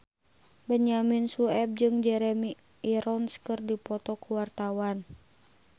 Benyamin Sueb jeung Jeremy Irons keur dipoto ku wartawan